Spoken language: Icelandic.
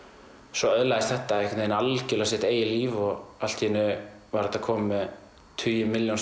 svo öðlaðist þetta algjörlega sitt eigið líf og allt í einu var þetta komið með tugi milljóna